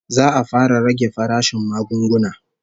Za'a fara rage farashin magunguna